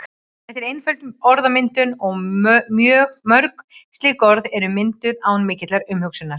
Þetta er einföld orðmyndun og mörg slík orð eru mynduð án mikillar umhugsunar.